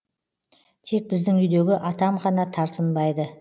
тек біздің үйдегі атам ғана тартынбайды